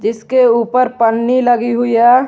इसके ऊपर पन्नी लगी हुई है।